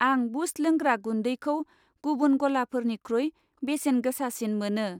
आं बुस्ट लोंग्रा गुन्दैखौ गुबुन गलाफोरनिख्रुइ बेसेन गोसासिन मोनो।